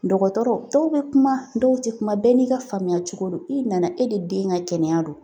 Dɔgɔtɔrɔ dɔw bɛ kuma dɔw tɛ kuma bɛɛ n'i ka faamuya cogo don i nana e de den ka kɛnɛya don